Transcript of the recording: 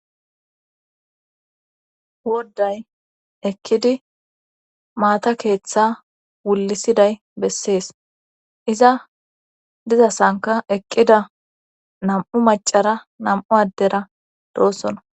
wodday ekkidi maata keeththa wullisiday bessees iza dizasanka eqqida nam7u macara nam7u addera doossona